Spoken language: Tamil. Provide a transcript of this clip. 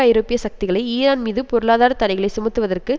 ஐரோப்பிய சக்திகளை ஈரான் மீது பொருளாதார தடைகளை சுமத்துவதற்கு